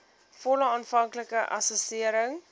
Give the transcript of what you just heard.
volle aanvanklike assessering